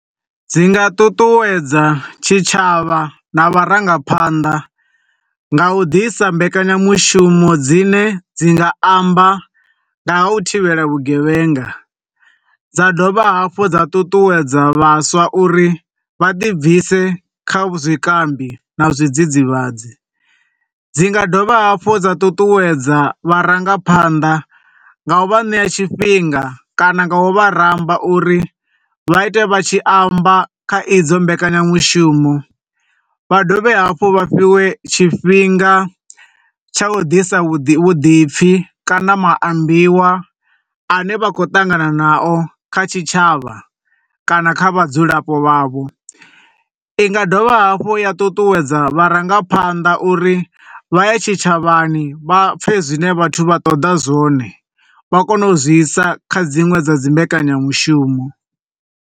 Dzi nga ṱuṱuwedza tshi tshavha na vharangaphanḓa, nga u ḓisa mbekanya mushumo dzine dzi nga amba nga ha u thivhela vhugevhenga, dza dovha hafhu dza ṱuṱuwedza vhaswa uri vha ḓi bvise kha zwikambi na zwidzidzivhadzi. Dzi nga dovha hafhu dza ṱuṱuwedza vharangaphanḓa nga u vha ṋea tshifhinga kana nga u vha ramba uri vha ite vha tshi amba kha idzo mbekanya mushumo, vha dovhe hafhu vha fhiwe tshifhinga tsha u ḓisa vhuḓi, vhuḓipfi kana maambiwa ane vha khou ṱangana na o kha tshitshavha kana kha vhadzulapo vhavho. Inga dovha hafhu ya ṱuṱuwedza vharangaphanḓa uri vha ye tshitshavhani vha pfe zwine vhathu vha ṱoḓa zwone, vha kone u dzi isa kha dziṅwe dza dzi mbekanya mushumo.